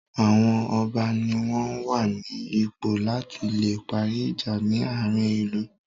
Àwọn ọba ní wọ́n wà ní ipò la tí le parí ìjà ní àárín ìlú.